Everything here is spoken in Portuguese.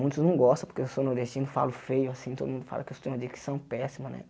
Muitos não gostam porque eu sou nordestino, falo feio assim, todo mundo fala que eu tenho uma dicção péssima, né?